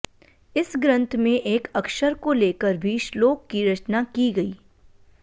इस ग्रंथ में एक अक्षर को लेकर भी श्लोक की रचना की गई